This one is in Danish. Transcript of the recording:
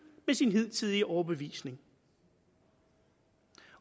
med sin hidtidige overbevisning